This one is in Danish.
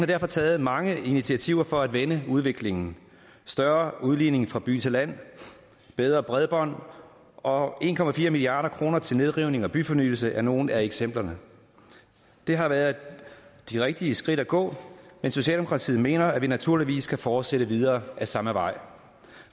derfor taget mange initiativer for at vende udviklingen større udligning fra by til land bedre bredbånd og en milliard kroner til nedrivning og byfornyelse er nogle af eksemplerne det har været de rigtige skridt at gå men socialdemokratiet mener at vi naturligvis kan fortsætte videre ad samme vej